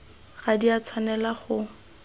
ga di a tshwanela go